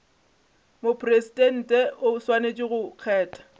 mopresidente o swanetše go kgetha